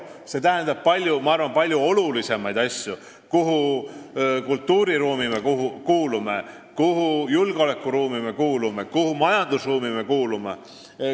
See tähendab palju olulisemaid asju: mis kultuuriruumi me kuulume, mis julgeolekuruumi me kuulume, mis majandusruumi me kuulume.